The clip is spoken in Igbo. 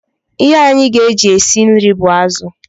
Ihe anyị ga-eji e si nri bụ azụ